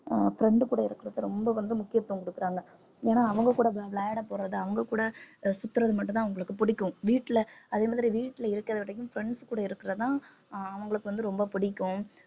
ஆஹ் friend கூட இருக்கிறத ரொம்ப வந்து முக்கியத்துவம் கொடுக்கறாங்க ஏன்னா அவங்க கூட விளையாட போறது அவங்க கூட சுத்துறது மட்டும்தான் அவங்களுக்கு பிடிக்கும் வீட்டில அதே மாதிரி வீட்டில இருக்கிற விடக்கும் friends கூட இருக்கிறது தான் அவங்களுக்கு வந்து ரொம்ப பிடிக்கும்